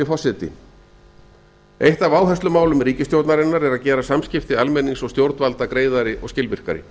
forseti eitt af áherslumálum ríkisstjórnarinnar er að gera samskipti almennings og stjórnvalda greiðari og skilvirkari